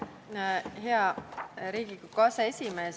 Hea Riigikogu aseesimees!